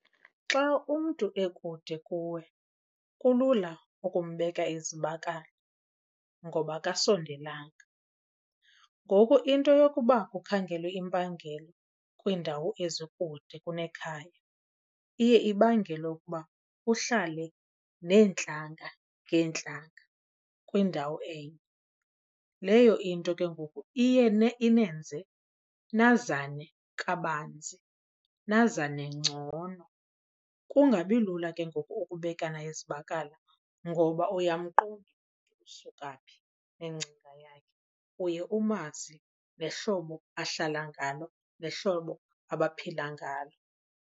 Xa umntu ekude kuwe kulula ukumbeka izibakala ngoba akasondelanga. Ngoku into yokuba kukhangelwe impangelo kwiindawo ezikude kunekhaya iye ibangele ukuba kuhlale neentlanga ngeentlanga kwindawo enye. Leyo into ke ngoku iye inenze nazane kabanzi nazane ngcono. Kungabi lula ke ngoku ukubekana izibakala ngoba uyamqonda umntu usuka phi nengcinga yakhe. Uye umazi nehlobo ahlala ngalo nehlobo abaphila ngalo.